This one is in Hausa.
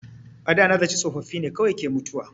A da na zaci tsofaffi ne kawai ke mutuwa.